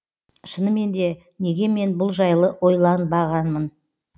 шынымен де неге мен бұл жайлы ойланбағанмын